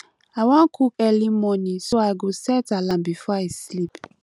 i wan cook early morning so i go set alarm before i sleep